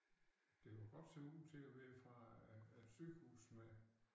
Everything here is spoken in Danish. Det kunne godt se ud til at være fra et et sygehus med